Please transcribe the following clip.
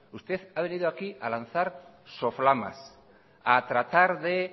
usted ha venido aquí a lanzar soflamas a tratar de